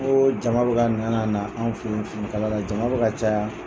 jama bɛ ka na na na anw fɛ ye finikala la jama bɛ ka caya.